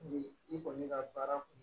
Ni i kɔni bɛ ka baara kun